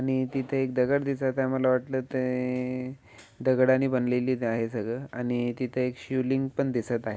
आणि तिथे एक दगड दिसत आहे. मला वाटलं ते दगडांनी बनलेलीच आहे सगळं आणि तिथे एक शिवलिंग पण दिसत आहे.